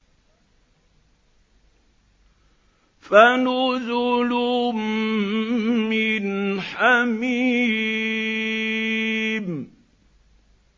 فَنُزُلٌ مِّنْ حَمِيمٍ